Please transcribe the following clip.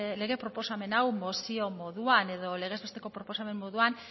lege proposamen hau mozio moduan edo legez besteko proposamen moduan